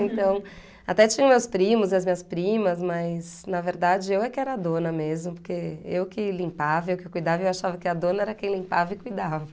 Então, até tinha meus primos e as minhas primas, mas, na verdade, eu é que era a dona mesmo, porque eu que limpava, eu que cuidava, eu achava que a dona era quem limpava e cuidava.